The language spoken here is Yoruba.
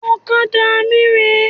Ọ̀kadà mí rè é